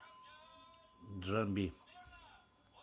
джамби